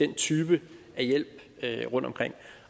den type af hjælp rundtomkring